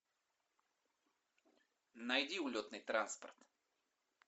найди улетный транспорт